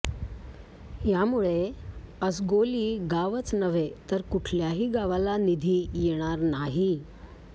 यामुळे असगोली गावच नव्हे तर कुठल्याही गावाला निधी येणार नाही